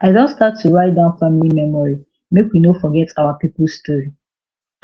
i don start to write down family memory make we no forget our people story